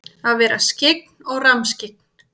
Að vera skyggn og rammskyggn?